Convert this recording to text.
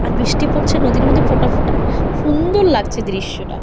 আর বৃষ্টি পড়ছে নদীর মধ্যে ফোঁটা ফোঁটা সু-উ-ন্দর লাগছে দৃশ্যটা।